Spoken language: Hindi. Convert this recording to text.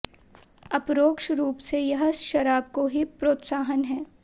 अपरोक्ष रूप से यह शराब को ही प्रोत्साहन है